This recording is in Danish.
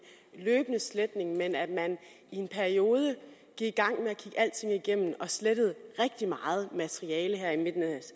løbende sletning men at man i en periode gik i alting igennem og slettede rigtig meget materiale her i midten af